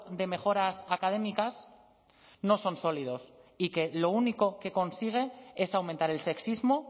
de mejoras académicas no son sólidos y que lo único que consigue es aumentar el sexismo